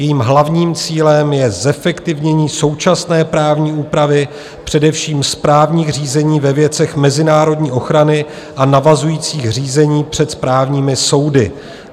Jejím hlavním cílem je zefektivnění současné právní úpravy, především správních řízení ve věcech mezinárodní ochrany a navazujících řízení před správními soudy.